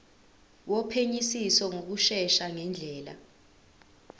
wophenyisiso ngokushesha ngendlela